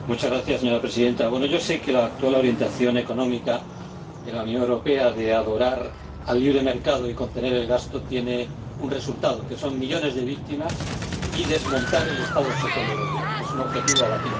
Señora Presidenta, sé que la actual orientación económica en la Unión Europea de adorar al libre mercado y contener el gasto tiene un resultado, que son millones de víctimas y el desmontaje del Estado social europeo, que es un objetivo a batir.